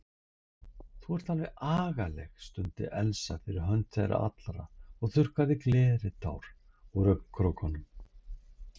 Þú ert alveg agaleg stundi Elsa fyrir hönd þeirra allra og þurrkaði gleðitár úr augnkrókunum.